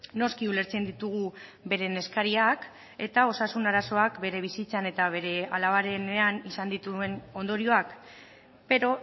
noski ulertzen ditugu beren eskariak eta osasun arazoak bere bizitzan eta bere alabarenean izan dituen ondorioak pero